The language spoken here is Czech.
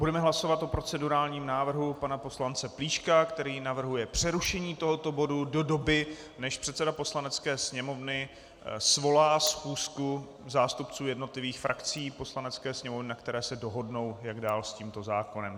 Budeme hlasovat o procedurálním návrhu pana poslance Plíška, který navrhuje přerušení tohoto bodu do doby, než předseda Poslanecké sněmovny svolá schůzku zástupců jednotlivých frakcí Poslanecké sněmovny, na které se dohodnou, jak dál s tímto zákonem.